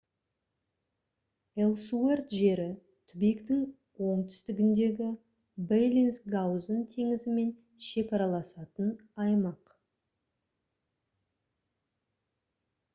элсуэрт жері түбектің оңтүстігіндегі беллинсгаузен теңізімен шекараласатын аймақ